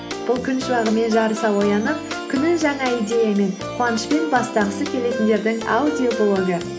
бұл күн шуағымен жарыса оянып күнін жаңа идеямен қуанышпен бастағысы келетіндердің аудиоблогы